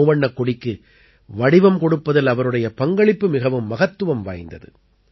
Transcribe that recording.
மூவண்ணக் கொடிக்கு வடிவம் கொடுப்பதில் அவருடைய பங்களிப்பு மிகவும் மகத்துவம் வாய்ந்தது